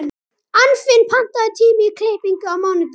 Anfinn, pantaðu tíma í klippingu á mánudaginn.